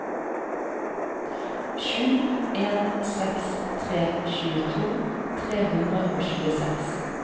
sju en seks tre tjueto tre hundre og tjueseks